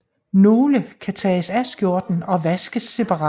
Nogle kan tages af skjorten og vaskes separat